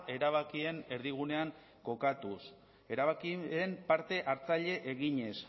erabakien erdigunean kokatuz erabakien parte hartzaile eginez